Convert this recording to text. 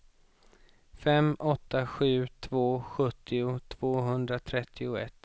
fem åtta sju två sjuttio tvåhundratrettioett